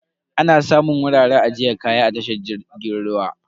Ana samun wuraren ajiyar kaya a tashar jirgin ruwa.